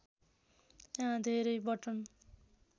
यहाँ धेरै बटन